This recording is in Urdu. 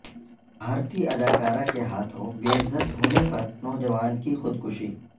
بھارتی اداکارہ کے ہاتھوں بے عزت ہونے پر نوجوان کی خودکشی